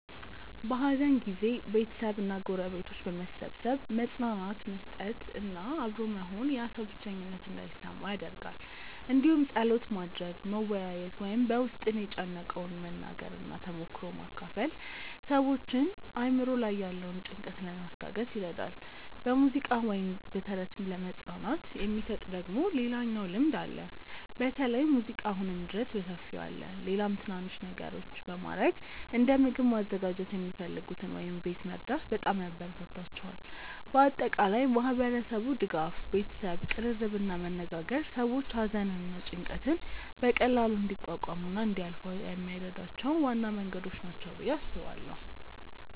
በሐዘን ጊዜ ቤተሰብ እና ጎረቤቶች በመሰብሰብ መጽናናት መስጠት እና አብሮ መሆን ያ ሰው ብቸኝነት እንዳይሰማው ይደረጋል እንዲሁም ጸሎት ማድረግ፣ መወያየት ወይም በ ውስጥን የጨነቀውን መናገር እና ተሞክሮ መካፈል ሰዎችን አእምሮ ላይ ያለውን ጭንቀት ለማስታገስ ይረዳል። በሙዚቃ ወይም በተረት መጽናናት የሚሰጥ ደግሞ ሌላኛው ልምድ አለ በተለይ ሙዚቃ አሁንም ድረስ በሰፊው አለ። ሌላም ትናናንሽ ነገሮች በማረግ እንደ ምግብ ማዘጋጀት የሚፈልጉትን ወይም ቤት መርዳት በጣም ያበራታታቸዋል። በአጠቃላይ ማህበረሰቡ ድጋፍ፣ ቤተሰብ ቅርርብ እና መነጋገር ሰዎች ሐዘንን እና ጭንቀትን በቀላሉ እንዲቋቋሙ እና እንዲያልፏ የሚረዷቸው ዋና መንገዶች ናቸው ብዬ አስባለው።